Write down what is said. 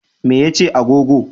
Me ya ce agogo?